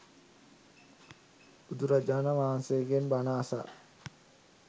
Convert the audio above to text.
බුදුරජාණන් වහන්සේගෙන් බණ අසා